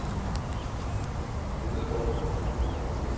Lyngerup